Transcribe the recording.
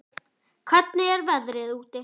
Hún var vingjarnleg en fámál og ákaflega döpur.